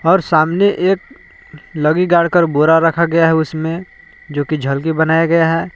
और सामने एक लगगी गाड़ कर बोरा रखा गया है। उसमें जो की झलकी बनाया गया है।